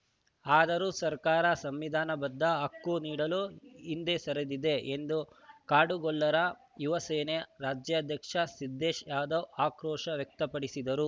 ಆದರೂ ಸರ್ಕಾರ ಸಂವಿಧಾನಬದ್ಧ ಹಕ್ಕು ನೀಡಲು ಹಿಂದೆ ಸರಿದಿವೆ ಎಂದು ಕಾಡುಗೊಲ್ಲರ ಯುವ ಸೇನೆ ರಾಜ್ಯಾಧ್ಯಕ್ಷ ಸಿದ್ದೇಶ್‌ ಯಾದವ್‌ ಆಕ್ರೋಶ ವ್ಯಕ್ತಪಡಿಸಿದರು